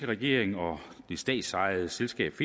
regering og det statsejede selskab